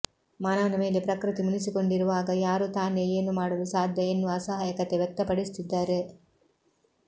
ಮಾನವನ ಮೇಲೆ ಪ್ರಕೃತಿ ಮುನಿಸಿಕೊಂಡಿರುವಾಗ ಯಾರು ತಾನೇ ಏನು ಮಾಡಲು ಸಾಧ್ಯ ಎನ್ನುವ ಅಸಹಾಯಕತೆ ವ್ಯಕ್ತಪಡಿಸುತ್ತಿದ್ದಾರೆ